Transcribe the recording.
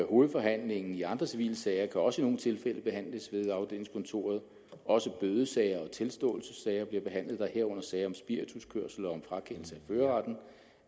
hovedforhandlingen i andre civile sager kan også i nogle tilfælde behandles ved afdelingskontoret også bødesager og tilståelsessager bliver behandlet der herunder at sager om spirituskørsel og om frakendelse